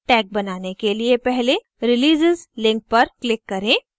tag बनाने के लिए पहले releases link पर click करें